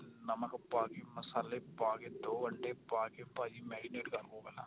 ਨਮਕ ਪਾ ਕੇ ਮਸਾਲੇ ਪਾ ਕੇ ਦੋ ਅੰਡੇ ਪਾ ਕੇ ਭਾਜੀ marinate ਕਰਲੋ ਪਹਿਲਾਂ